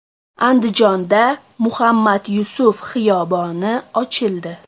Andijonda Muhammad Yusuf xiyoboni ochildi.